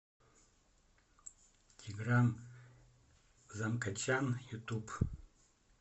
тигран замкочан ютуб